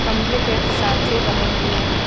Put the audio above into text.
खंभे के सांचे बने हुए हैं।